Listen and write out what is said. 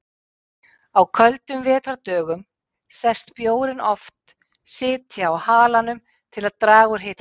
Á köldum vetrardögum sést bjórinn oft sitja á halanum til að draga úr hitatapi.